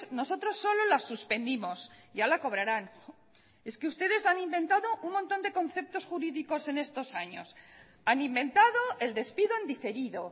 nosotros solo la suspendimos ya la cobrarán es que ustedes han inventado un montón de conceptos jurídicos en estos años han inventado el despido en diferido